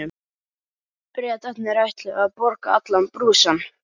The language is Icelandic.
Bretarnir ætluðu að borga allan brúsann.